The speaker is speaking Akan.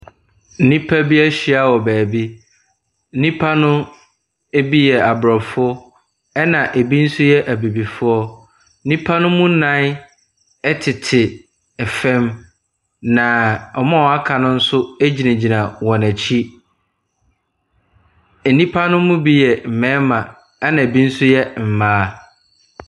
Nnipa bi ahyia wɔ baabi. Nnipa no bi yɛ Aborɔfo, ɛna ɛbi nso yɛ Abibifoɔ. Nnipa no mu nnan tete fam, na wɔn a wɔaka bo nso gyinagyina wɔn akyi. Nnipa no mu bi yɛ mmarima, ɛna ɛbi nso yɛ mmaa.